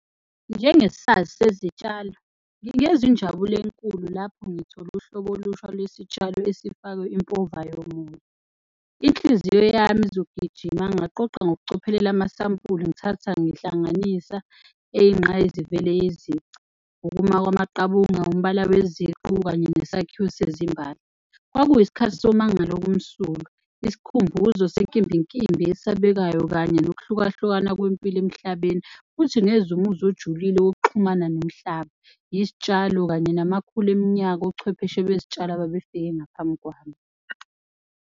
Njengesazi sezitshalo ngingezwa injabulo enkulu lapho ngithole uhlobo olusha lwesitshalo esifakwe impova yomoya. Inhliziyo yami izogijima ngaqoqa ngokucophelela amasampula, ngithatha ngihlanganisa eyinqayizivele yezici. Ukuma kwamaqabunga, umbala weziqu kanye nesakhiwo sezimbali. Kwakuyisikhathi somangalo okumsulwa, isikhumbuzo senkimbinkimbi esabekayo kanye nokuhlukahlukana kwempilo emhlabeni. Futhi ngezwa umuzwa ojulile wokuxhumana nomhlaba, izitshalo kanye namakhulu eminyaka. Ochwepheshe bezitshalo ababefike ngaphambi kwami.